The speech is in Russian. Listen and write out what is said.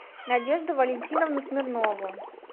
надежду валентиновну смирнову